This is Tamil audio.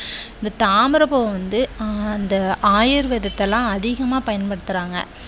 இந்த தாமரைப் பூ வந்து அந்த ஆயுர்வேதத்திற்கு எல்லாம் அதிகமாக பயன்படுத்துறாங்க.